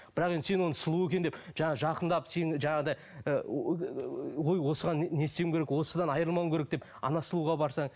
бірақ енді сені оны сұлу екен деп жаңағы жақындап сені жаңағыдай ой осыған не істеуім керек осыдан айырылмауым керек деп сұлуға барсаң